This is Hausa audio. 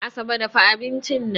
Asabe dafa abincin nan